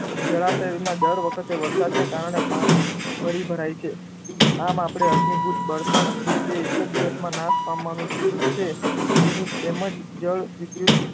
જળાશયમાં દર વખતે વરસાદને કારણે પાણી ફરી ભરાય છે. આમ આપણે અશ્મિભૂત બળતણ કે તે એક જ દિવસમાં નાશ પામવાનું છે, તેની તેમજ જળ વિદ્યુત